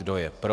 Kdo je pro.